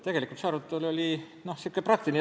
Tegelikult oli meil praktiline arutelu.